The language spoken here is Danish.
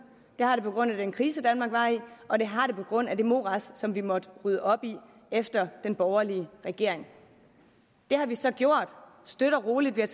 det har det på grund af den krise danmark var i og det har det på grund af det morads som vi måtte rydde op i efter den borgerlige regering det har vi så gjort støt og roligt vi har